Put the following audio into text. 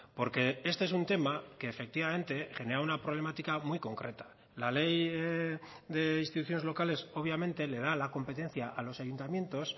porque este es un tema que efectivamente genera una problemática muy concreta la ley de instituciones locales obviamente le da la competencia a los ayuntamientos